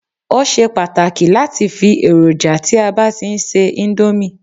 o ṣe pàtàkì lati fi eroja ti a ba ti n se Indomie